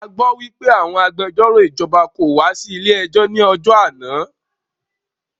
A gbọ́ wípé àwọn agbẹjọ́rò ìjọba kò wá sí ilé ẹjọ́ ní ọjọ́ náà.